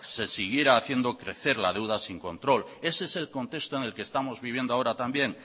se siguiera haciendo crecer la deuda sin control ese es el contexto en el que estamos viviendo ahora también